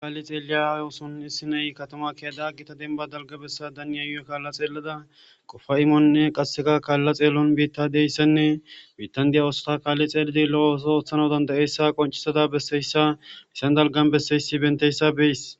Kaali xeeliza issi nay katama Kela Gita denba dalga besatan ya kala xelada qofay imone qaseka kala xeelon betidaysane bitan diya oosota kaali xelidi lo'o oosoy oothanaysa dandayiyasa qoncisada besiyaysa dalgan besiyaysa beyaysi